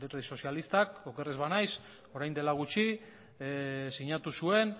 alderdi sozialista oker ez banaiz orain dela gutxi sinatu zuen